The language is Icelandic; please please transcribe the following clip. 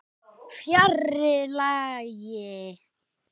Fjarri lagi.